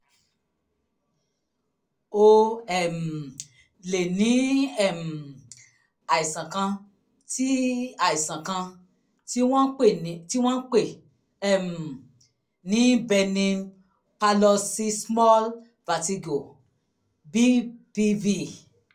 o um lè ní um àìsàn kan tí àìsàn kan tí wọ́n ń pè um ní benign parloxysmal vertigo bpv